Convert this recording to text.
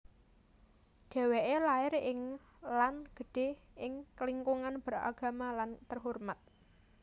Dheweke lair ing lan gedhe ing lingkungan beragama lan terhormat